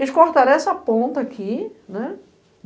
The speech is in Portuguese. Eles cortaram essa ponta aqui, né?